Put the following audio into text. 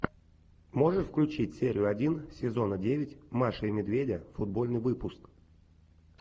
можешь включить серию один сезона девять маши и медведя футбольный выпуск